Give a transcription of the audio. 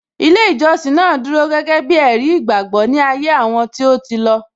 Ilé ìjọsìn náà dúró gẹ́gẹ́ bí ẹ̀rí ìgbàgbọ́ ní ayé àwọn tí ó ti lọ